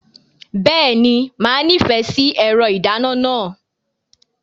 Bẹ́ẹ̀ni, màá nífẹ̀ẹ́ sí ẹ̀rọ ìdáná náà.